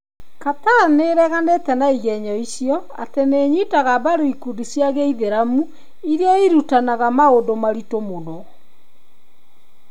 Qatar nĩ ĩreganete na igenyo icio ati nĩ ĩnyitaga mbaru ikundi cia gĩithĩramu irĩa irutanaga maũndũ maritũ mũno.